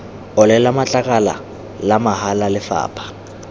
olela matlakala la mahala lefapha